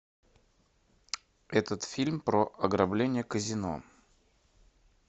этот фильм про ограбление казино